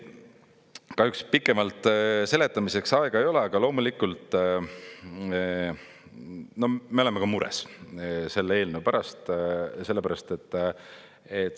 Kahjuks pikemalt seletamiseks aega ei ole, aga loomulikult me oleme ka mures selle eelnõu pärast.